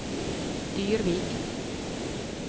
Dyrvik